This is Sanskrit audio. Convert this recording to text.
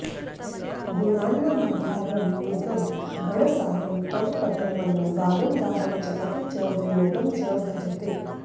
गुणान्नामाधारं निगम गणसारं तव पदं मनो वारं वारं जपति च विनोदं च भजते